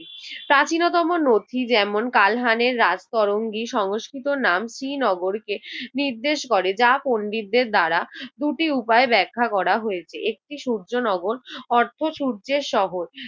প্রাচীনতম নথি যেমন কালহানের রাজতরঙ্গী সংস্কৃত নামটি নগরকে নির্দেশ করে। যা পন্ডিতদের দ্বারা দুটি উপায়ে ব্যাখ্যা করা হয়েছে। একটি সূর্যনগর অর্থ সূর্যের শহর।